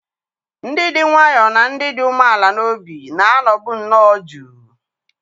Ndị dị nwayọọ na ndị dị umeala n'obi na-anọbu nnọọ jụụ.